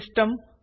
system